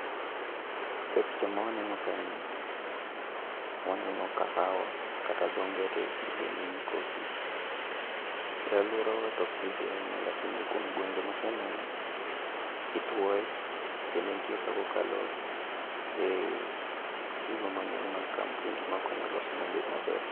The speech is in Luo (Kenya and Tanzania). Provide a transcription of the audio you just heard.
E picha ma waneno kae ni, waneno kahawa kata dho ngere iluonge ni coffee. E alworawa tok pidhe ahinya lakini kuom gwenge maseneno, itwoe kendo ntie kakokalo e gigo mang'eny mag kampuni ma konyo lose mobed maber.